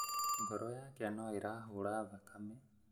Ngoro yake no ĩrahũra thakame